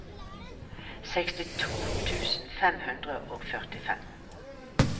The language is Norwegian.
sekstito tusen fem hundre og førtifem